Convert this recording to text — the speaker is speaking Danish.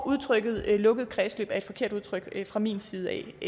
udtrykket lukket kredsløb var et forkert udtryk fra min side